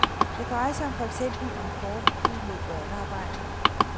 Det drejer sig for eksempel om forbud mod børnearbejde.